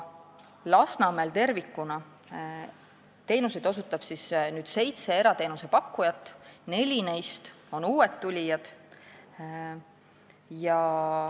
Lasnamäel tervikuna osutab teenuseid seitse erateenuse pakkujat, kellest neli on uued tulijad.